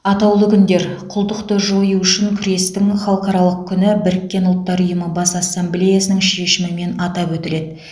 атаулы күндер құлдықты жою үшін күрестің халықаралық күні біріккен ұлттар ұйымы бас ассамблеясының шешімімен атап өтіледі